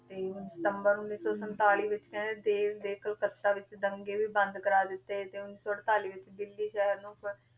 ਤੇ even ਸਤੰਬਰ ਉੱਨੀ ਸੌ ਸੰਤਾਲੀ ਵਿੱਚ ਕਹਿੰਦੇ ਦੇਸ ਦੇ ਕਲਕੱਤਾ ਵਿੱਚ ਦੰਗੇ ਵੀ ਬੰਦ ਕਰਵਾ ਦਿੱਤੇ ਤੇ ਉੱਨੀ ਸੌ ਅੜਤਾਲੀ ਵਿੱਚ ਦਿੱਲੀ ਸ਼ਹਿਰ ਨੂੰ